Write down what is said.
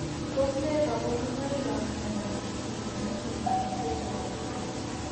Tos ne kaborunoikap miondop Osteogenesis imperfecta type VII?